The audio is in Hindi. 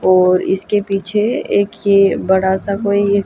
और इसके पीछे एक ये बड़ा सा कोई--